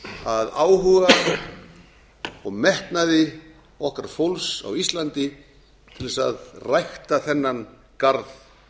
að áhuga og metnaði okkar fólks á íslandi til þess að rækta þennan garð